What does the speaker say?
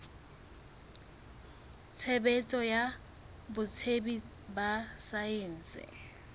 tshebetso ya botsebi ba saense